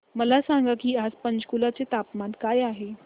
मला सांगा की आज पंचकुला चे तापमान काय आहे